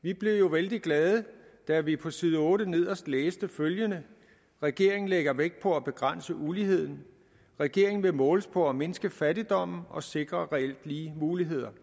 vi blev jo vældig glade da vi på side otte nederst læste følgende regeringen lægger vægt på at begrænse uligheden regeringen vil måles på at mindske fattigdommen og sikre reelt lige muligheder